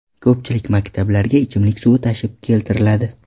Ko‘pchilik maktablarga ichimlik suvi tashib keltiriladi.